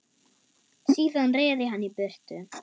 Síðan reri hann í burtu.